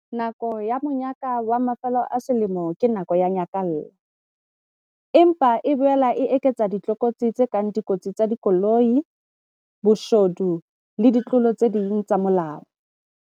Nako ya monyaka wa mafelo a selemo ke nako ya nyakallo. Empa e boela e eketsa ditlokotsi tse kang dikotsi tsa dikoloi, boshodu le ditlolo tse ding tsa molao.